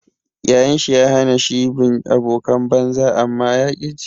Yayan shi ya hana shi bin abokan banza amma ya ƙi ji.